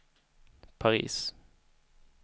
Paris